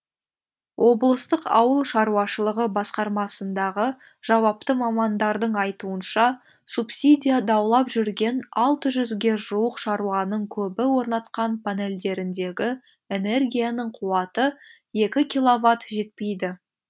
облыстық ауыл шаруашылығы басқармасындағы жауапты мамандардың айтуынша субсидия даулап жүрген алты жүзге жуық шаруаның көбі орнатқан панельдеріндегі энергияның қуаты екі киловатт жетпейді